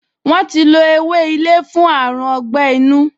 Wọ́n ti lo ewé ilé fún àrùn ọgbẹ́-inú